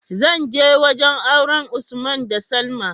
zanje wajan auren usman da salma